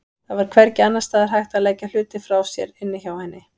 Það var hvergi annars staðar hægt að leggja hluti frá sér inni hjá henni.